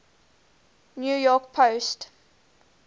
new york post